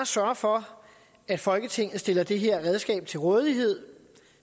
sørge for at folketinget stiller det her redskab til rådighed